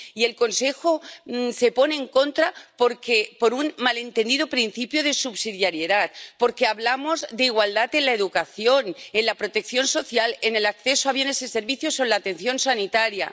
Y el Consejo se pone en contra por un mal entendido principio de subsidiariedad, porque hablamos de igualdad en la educación, en la protección social, en el acceso a bienes y servicios o en la atención sanitaria.